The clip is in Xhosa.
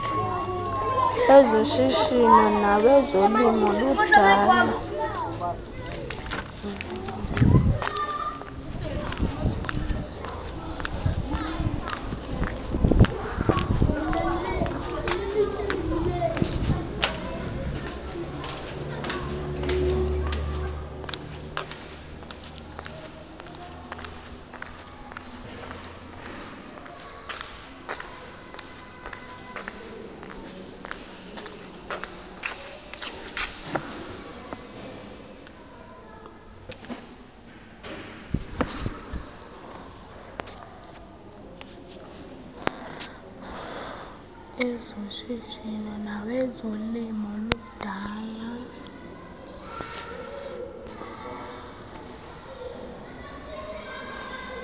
ezoshishino nawezolimo ludala